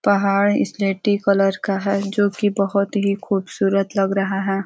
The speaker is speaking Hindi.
पहाड़ स्लेटी कलर का है जोकि बहुत खूबसूरत लग रहा है।